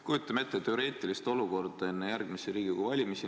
Kujutame ette teoreetilist olukorda enne järgmisi Riigikogu valimisi.